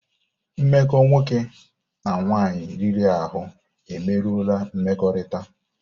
Mmekọ nwoke na nwaanyị riri ahụ emerụọla mmekọrịta.